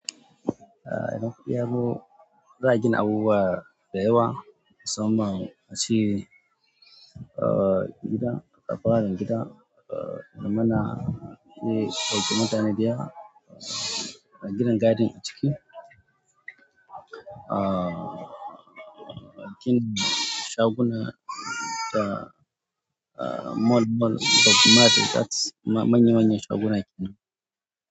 A idan kuɗi yazo za a gina abubuwa da yawa, musamman ace gidan, fararen gida, mana iya ɗauki mutane dayawa, aginin garden ciki, aa, kin shaguna da moll moll da market da manya manyan shaguna ake nan.